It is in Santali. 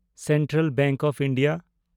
central bank of India